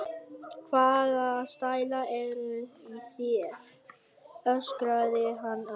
Hvaða stælar eru í þér? öskraði hann að